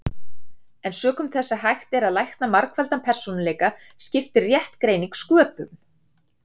En sökum þess að hægt er að lækna margfaldan persónuleika skiptir rétt greining sköpum.